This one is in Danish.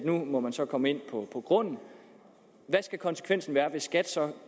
nu må man så komme ind på grunden hvad skal konsekvensen være hvis skat så